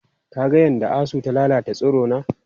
Ka ga yadda asu ta lalata tsirona?